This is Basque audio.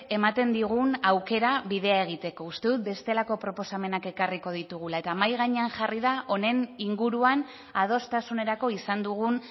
ematen digun aukera bidea egiteko uste dut bestelako proposamenak ekarriko ditugula eta mahai gainean jarri da honen inguruan adostasunerako izan dugun